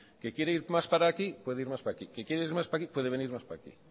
que quiere ir más para aquí puede ir más para aquí que quiere ir más para aquí puede venir más para aquí